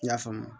I y'a faamu